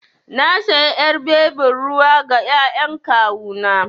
Na sayi ƴar bebin ruwa ga ƴaƴan kawu na.